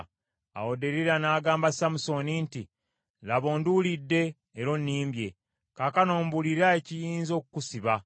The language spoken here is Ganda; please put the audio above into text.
Awo Derira n’agamba Samusooni nti, “Laba, onduulidde, era onnimbye. Kaakano mbuulira ekiyinza okukusiba.”